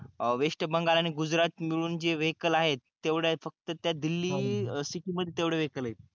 waste Bengal आणि गुजरात मिळून जे वेहिकल आहेत तेवढ्या फक्त त्या दिल्ली सिटि मध्ये तेवढे वेहिकल आहेत